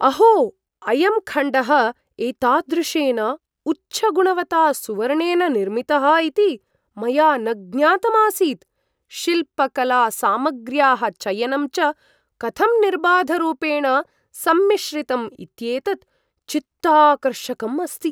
अहो, अयं खण्डः एतादृशेन उच्चगुणवता सुवर्णेन निर्मितः इति मया न ज्ञातम् आसीत्, शिल्पकलासामग्र्याः चयनं च कथं निर्बाधरूपेण सम्मिश्रितम् इत्येतत् चित्ताकर्षकम् अस्ति।